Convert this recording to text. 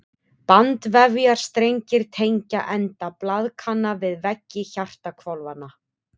Bandvefjarstrengir tengja enda blaðkanna við veggi hjartahvolfanna.